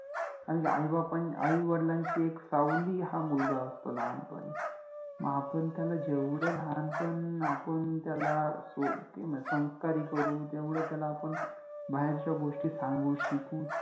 कारण कि आई बापा आई वडिलांचि एक सावलि हा मुलगा असतो लहानपणि. आपण त्याला जेवढ लहानपण आपण त्याला सो संस्कारि करु तेवढ त्याला आपण बाहेरच्या गोष्टी सांगु, शिकवु